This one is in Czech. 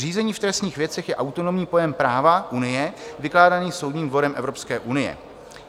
Řízení v trestních věcech je autonomní pojem práva Unie vykládaný Soudním dvorem Evropské unie.